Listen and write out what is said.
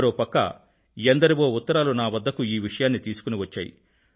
మరో పక్క ఎందరివో ఉత్తరాలు నా వద్దకు ఈ విషయాన్ని తీసుకుని వచ్చాయి